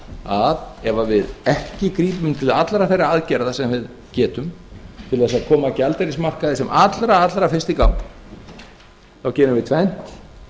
að ef við ekki grípum til allra þeirra aðgerða sem við getum til að koma gjaldeyrismarkaði sem allra fyrst í gang þá gerum við